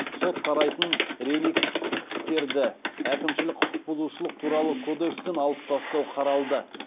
сот қарайтын реликвтерді әкімшілік құқық бұзушылық туралы кодекстен алып тастау қаралды